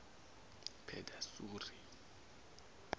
pedasuri